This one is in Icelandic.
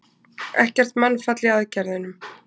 Ekkert mannfall í aðgerðunum